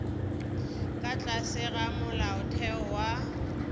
ka tlase ga molaotheo wa